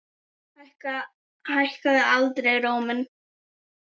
Hækkaði aldrei róminn.